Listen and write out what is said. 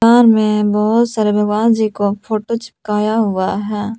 दुकान में बहुत सारे भगवान जी को फोटो चिपकाया हुआ है।